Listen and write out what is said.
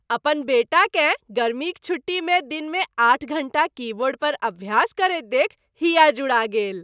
अपन बेटाकेँ गर्मीक छुट्टीमे दिनमे आठ घण्टा कीबोर्ड पर अभ्यास करैत देखि हिया जुड़ा गेल।